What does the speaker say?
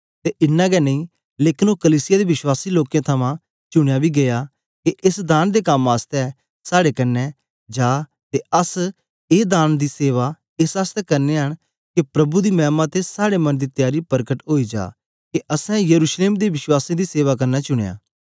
ते इनां गै नेई लेकन ओ कलीसिया दे विश्वासी लोकें थमां चुनयां बी गीया के एस दान दे कम आसतै साड़े कन्ने जा ते अस ए दान दी सेवा एस आसतै करनयां न के प्रभु दी मैमा ते साड़े मन दी त्यारी परकट ओई जा के अस यरूशलेम दे विश्वासियें दी सेवा करना चुनयां